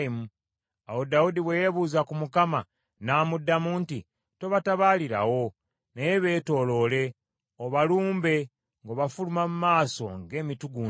Awo Dawudi bwe yeebuuza ku Mukama , n’amuddamu nti, “Tobatabaalirawo, naye beetooloole, obalumbe ng’obafuluma mu maaso g’emitugunda.